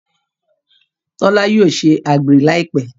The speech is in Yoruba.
Tola yóò ṣe àgbèrè Láìpé.